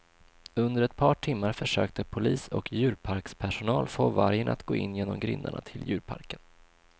Under ett par timmar försökte polis och djurparkspersonal få vargen att gå in genom grindarna till djurparken.